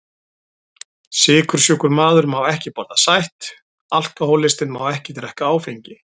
Sykursjúkur maður má ekki borða sætt, alkohólistinn má ekki drekka áfengi.